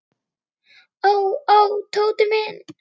Ó, ó, Tóti minn.